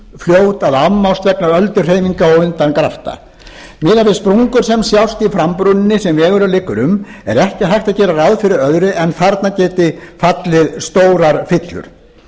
fljót að afmást vegna ölduhreyfinga og undangrafta miðað við sprungur sem sjást í frambrúninni sem vegurinn liggur um er ekki hægt að gera ráð fyrir öðru en þarna geti fallið stórar fyllur